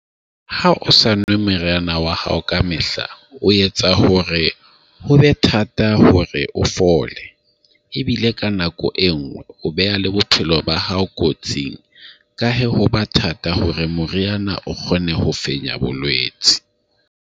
Ha o sa nwe meriana wa hao ka mehla o etsa hore hobe thata hore o fole ebile ka nako e nngwe o beha le bophelo ba hao kotsing ka he ho ba thata hore moriana o kgone ho fenya bolwetsi.